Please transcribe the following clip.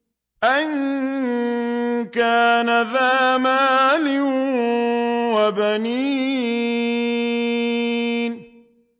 أَن كَانَ ذَا مَالٍ وَبَنِينَ